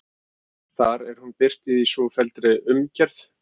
Þar er hún birt í svofelldri umgerð